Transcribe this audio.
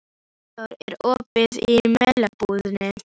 Guðþór, er opið í Melabúðinni?